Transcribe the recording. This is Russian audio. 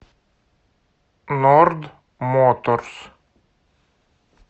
норд моторс